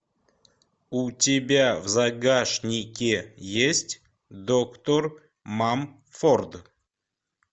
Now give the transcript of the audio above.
у тебя в загашнике есть доктор мамфорд